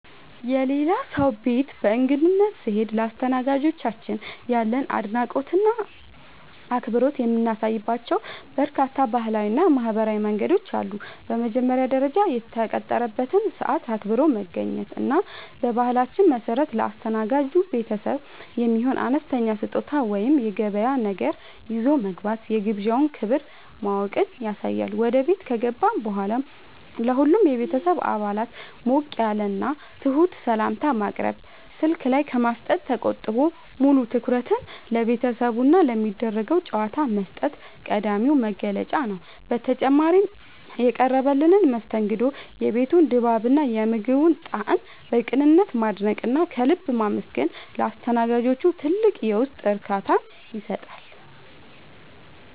የሌላ ሰው ቤት በእንግድነት ስንሄድ ለአስተናጋጆቻችን ያለንን አድናቆትና አክብሮት የምናሳይባቸው በርካታ ባህላዊና ማኅበራዊ መንገዶች አሉ። በመጀመሪያ ደረጃ፣ የተቀጠረበትን ሰዓት አክብሮ መገኘት እና በባህላችን መሠረት ለአስተናጋጅ ቤተሰቡ የሚሆን አነስተኛ ስጦታ ወይም የገበያ ነገር ይዞ መግባት የግብዣውን ክብር ማወቅን ያሳያል። ወደ ቤት ከገባን በኋላም ለሁሉም የቤተሰብ አባላት ሞቅ ያለና ትሑት ሰላምታ ማቅረብ፣ ስልክ ላይ ከማፍጠጥ ተቆጥቦ ሙሉ ትኩረትን ለቤተሰቡና ለሚደረገው ጨዋታ መስጠት ቀዳሚው መገለጫ ነው። በተጨማሪም፣ የቀረበልንን መስተንግዶ፣ የቤቱን ድባብና የምግቡን ጣዕም በቅንነት ማድነቅና ከልብ ማመስገን ለአስተናጋጆቹ ትልቅ የውስጥ እርካታን ይሰጣል።